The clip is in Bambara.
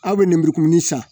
Aw bɛ nɛnburukumuni san